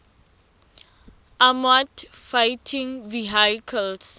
armoured fighting vehicles